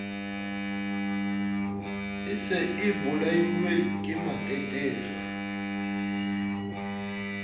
e se e bolailwe kematetetso